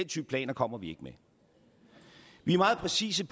type planer kommer vi ikke med vi er meget præcise